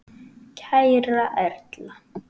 Kæra Erla.